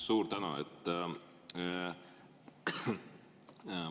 Suur tänu!